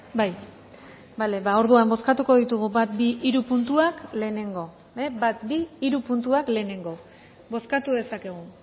orduan bozkatuko ditugu bat bi eta hiru puntuak lehenengo bozkatu dezakegu